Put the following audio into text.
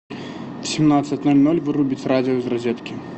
в семнадцать ноль ноль вырубить радио из розетки